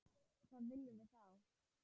Hvað viljum við þá?